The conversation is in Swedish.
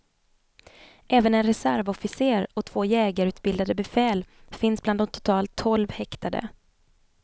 Även en reservofficer och två jägarutbildade befäl finns bland de totalt tolv häktade.